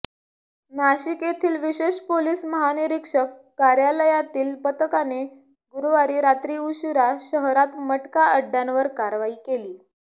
नाशिक येथील विशेष पोलीस महानिरीक्षक कार्यालयातील पथकाने गुरुवारी रात्री उशिरा शहरात मटका अड्डयांवर कारवाई केली